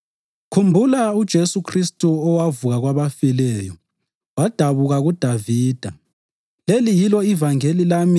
Khumbula uJesu Khristu owavuka kwabafileyo, wadabuka kuDavida. Leli yilo ivangeli lami